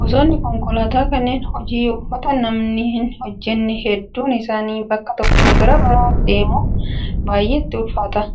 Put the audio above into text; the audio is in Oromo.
Gosoonni konkolaataa kanneen hojii ulfaataa namni hin hojjanne hedduun isaanii bakka tokkoo gara biraa deemuuf baay'ee itti ulfaata.